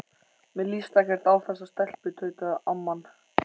Mér líst ekkert á þessa stelpu tautaði amman.